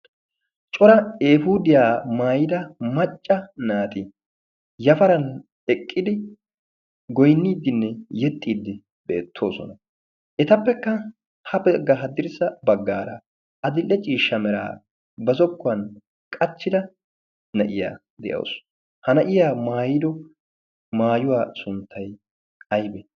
cora ehudiyaa maayida macca naati yafaran eqqidi goinniiddinne yexxiiddi beettoosona. etappekka ha pegga haddirssa baggaara a dil'e ciishsha meraa ba zokkuwan qachchida na'iyaa de'awusu. ha na'iya maayido maayuwaa sunttay aybe?